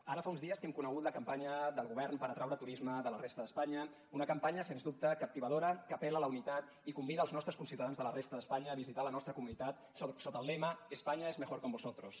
ara fa uns dies que hem conegut la campanya del govern per atraure turisme de la resta d’espanya una campanya sens dubte captivadora que apel·la a la unitat i convida els nostres conciutadans de la resta d’espanya a visitar la nostra comunitat sota el lema españa es mejor con vosotros